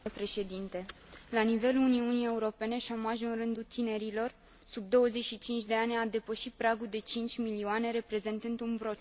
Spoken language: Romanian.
La nivelul Uniunii Europene, șomajul în rândul tinerilor sub 25 de ani a depășit pragul de 5 milioane, reprezentând un procent de aproape